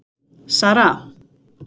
Sara